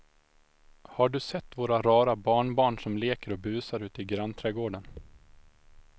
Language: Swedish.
Har du sett våra rara barnbarn som leker och busar ute i grannträdgården!